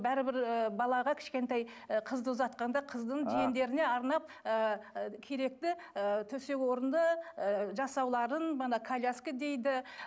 бәрібір і балаға кішкентай і қызды ұзатқанда қыздың жиендеріне арнап ыыы керекті ы төсек орынды ы жасауларын мына коляска дейді